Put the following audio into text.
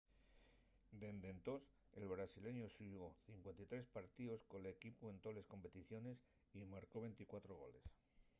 dende entós el brasileñu xugó 53 partíos col equipu en toles competiciones y marcó 24 goles